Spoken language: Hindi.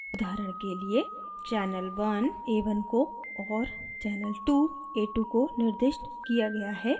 उदाहरण के लिएchannel 1 a1 को और channel 2 a2 को निर्दिष्ट किया गया है